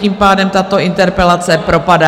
Tím pádem tato interpelace propadá.